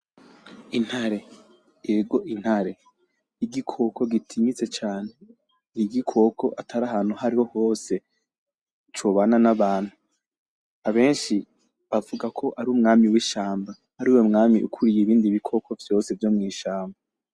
Intare , ego Intare. Igikoko gitinyitse cane ; igikoko atari ahantu ahariho hose cobana n'abantu. Abenshi bavugako ar'umwami wishamba, ariwe mwami ukuriye ibindi bikoko vyose vyo mw'ishamba.